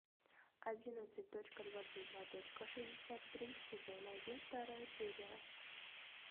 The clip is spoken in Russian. одиннадцать точка двадцать два точка шестьдесят три сезон один вторая серия